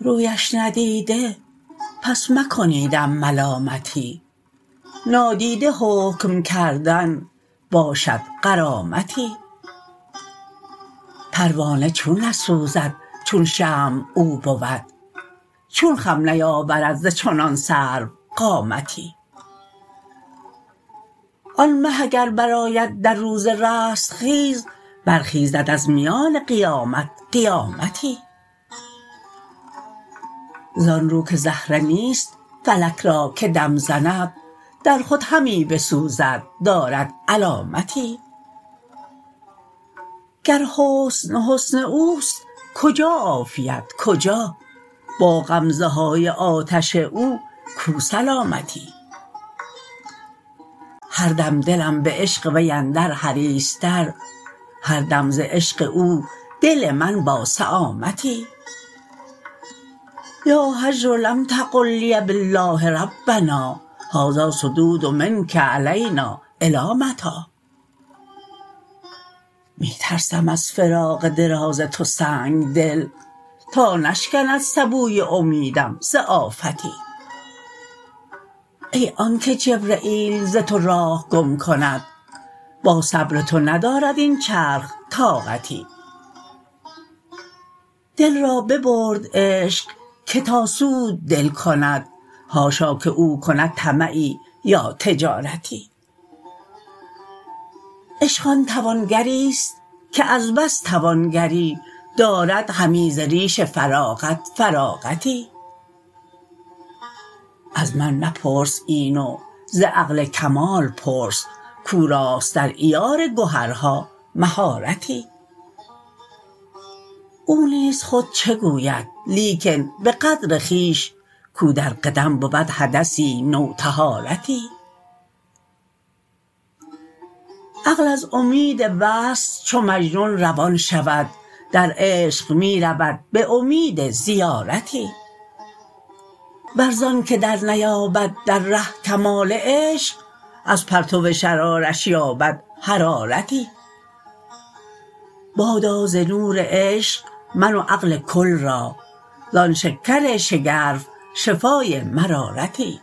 رویش ندیده پس مکنیدم ملامتی نادیده حکم کردن باشد غرامتی پروانه چون نسوزد چون شمع او بود چون خم نیاورم ز چنان سروقامتی آن مه اگر برآید در روز رستخیز برخیزد از میان قیامت قیامتی زان رو که زهره نیست فلک را که دم زند در خود همی بسوزد دارد علامتی گر حسن حسن او است کجا عافیت کجا با غمزه های آتش او کو سلامتی هر دم دلم به عشق وی اندر حریصتر هر دم ز عشق او دل من با سمتی یا هجر لم تقل لی بالله ربنا هذا الصدود منک علینا الی متی می ترسم از فراق دراز تو سنگ دل تا نشکند سبوی امیدم ز آفتی ای آنک جبرییل ز تو راه گم کند با صبر تو ندارد این چرخ طاقتی دل را ببرد عشق که تا سود دل کند حاشا که او کند طمعی یا تجارتی عشق آن توانگری است که از بس توانگری داردهمی ز ریش فراغت فراغتی از من مپرس این و ز عقل کمال پرس کو راست در عیار گهرها مهارتی او نیز خود چه گوید لیکن به قدر خویش کو در قدم بود حدثی نوطهارتی عقل از امید وصل چو مجنون روان شود در عشق می رود به امید زیارتی ور ز آنک درنیابد در ره کمال عشق از پرتو شرارش یابد حرارتی بادا ز نور عشق من و عقل کل را زان شکر شگرف شفای مرارتی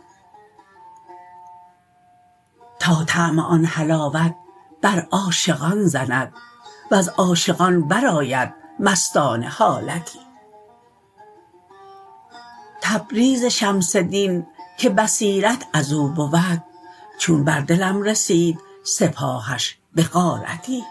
تا طعم آن حلاوت بر عاشقان زند وز عاشقان برآید مستانه حالتی تبریز شمس دین که بصیرت از او بود چون بر دلم رسید سپاهش به غارتی